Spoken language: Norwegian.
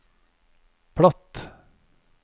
platt